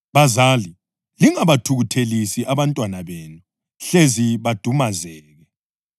Bazali, lingabathukuthelisi abantwana benu hlezi badumazeke.